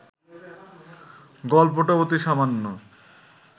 গল্পটা অতি সামান্য